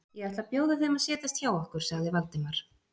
Ég ætla að bjóða þeim að setjast hjá okkur sagði Valdimar.